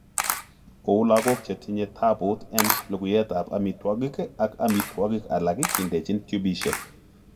Kou logok chetinye taput en lukuiyetap amitwogik ak amitwogik alak kindechin tupishek.